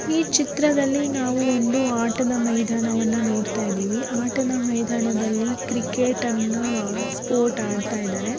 ಈ ಚಿತ್ರದಲ್ಲಿ ನಾವು ಒಂದು ಆಟದ ಮೈದಾನವನ್ನ ನೋಡ್ತಾ ಇದ್ದೀವಿ. ಆಟದ ಮೈದಾನದಲ್ಲಿ ಕ್ರಿಕೆಟನ್ನ ಸ್ಪೋರ್ಟ್ ಆಡ್ತಾ ಇದ್ದಾರೆ